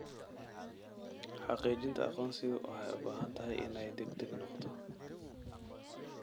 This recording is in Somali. Xaqiijinta aqoonsigu waxay u baahan tahay inay degdeg noqoto.